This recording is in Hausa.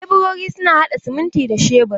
Leburori suna haɗa siminti da shebur.